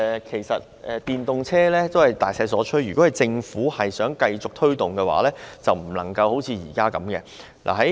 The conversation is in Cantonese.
其實，電動車已是大勢所趨，如果政府想繼續推動，便不能像現在這樣。